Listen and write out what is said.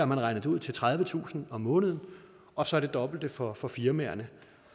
man regnet det ud til tredivetusind om måneden og så det dobbelte for for firmaerne